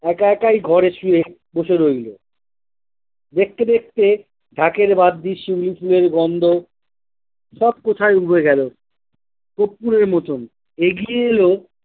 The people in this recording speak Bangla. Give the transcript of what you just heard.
একা একাই ঘরে শুয়ে বসে রইল দেখতে দেখতে ঢাকের বাদ্দি শিউলি ফুলের গন্ধ সব কোথায় উবে গেল কপ্পুরের মতন এগিয়ে এলো।